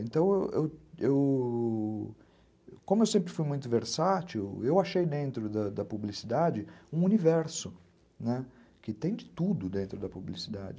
Então, como eu eu eu... como eu sempre fui muito versátil, eu achei dentro da da publicidade um universo, que tem de tudo dentro da publicidade.